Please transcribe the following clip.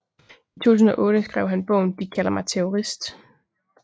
I 2008 skrev han bogen De kalder mig terrorist